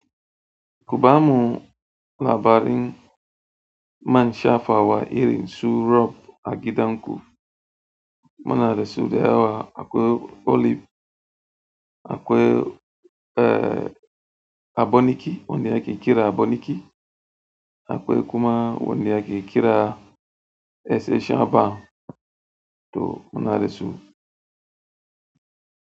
Kuba mu labarin man shafawa iri su rob a gidan ku. Munada su da yawa akwai olive, akwai aboniki, wanda ake kira aboniki, akwai kuma wanda ake kira se shaba to munada su.